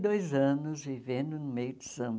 e dois anos vivendo no meio do samba.